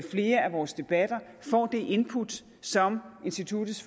flere af vores debatter får det input som instituttets